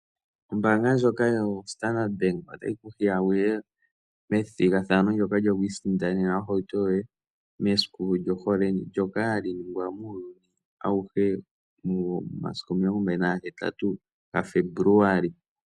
Ombaanga ndjoka yo Standard Bank otayi ku hiya wuye methigathano ndyoka lyoku isindanena ohauto yoye mesiku lyohole, ndyoka hali ningwa muuyuni awuhe , momasiku 14 ga Febuluali.